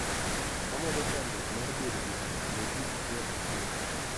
Omedo chandruok mar bedo jodhier ne ji achiel achiel